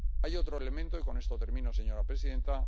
Hay otro elemento —y con esto termino, señora presidenta—.